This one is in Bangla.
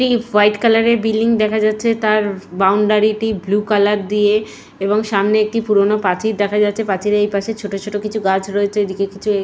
একটি হোয়াইট কালারের বিল্ডিং দেখা যাচ্ছে তার বাউন্ডারি টি ব্লু কালার দিয়ে এবং সামনে একটি পুরোনো পাঁচির দেখা যাচ্ছে পাচিলের এই পাশে ছোট ছোট কিছু গাছ দেখা রয়েছে।